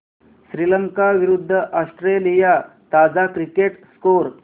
श्रीलंका विरूद्ध ऑस्ट्रेलिया ताजा cricket score